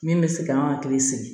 Min bɛ se k'an hakili sigi